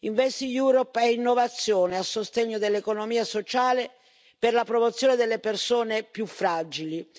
InvestEU è innovazione a sostegno dell'economia sociale per la promozione delle persone più fragili.